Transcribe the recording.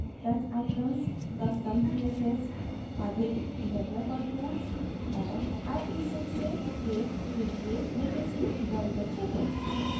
touch icons custom css अधिक developer tools और ie 6 से 8 के लिए legacy browser settings